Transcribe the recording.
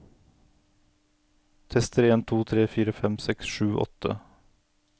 Tester en to tre fire fem seks sju åtte